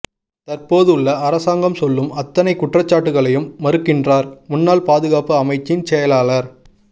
தற்போது உள்ள அரசாங்கம் சொல்லும் அத்தனை குற்றச்சாட்டுக்களையும் மறுக்கின்றார் முன்னாள் பாதுகாப்பு அமைச்சின் செயலாளர்